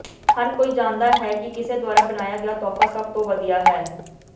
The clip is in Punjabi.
ਹਰ ਕੋਈ ਜਾਣਦਾ ਹੈ ਕਿ ਕਿਸੇ ਦੁਆਰਾ ਬਣਾਇਆ ਗਿਆ ਤੋਹਫ਼ਾ ਸਭ ਤੋਂ ਵਧੀਆ ਹੈ